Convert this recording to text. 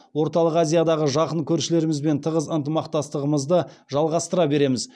орталық азиядағы жақын көршілерімізбен тығыз ынтымақтастығымызды жалғастыра береміз